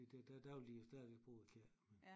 Det der der der vil de jo stadigvæk bruge kirken